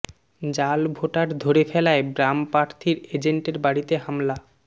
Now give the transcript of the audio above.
জাল ভোটার ধরে ফেলায় বাম প্রার্থীর এজেন্টের বাড়িতে হামলা